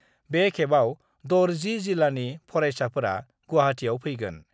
बे खेबाव दर 10जिल्लानि फरायसाफोरा गुवाहाटीयाव फैगोन।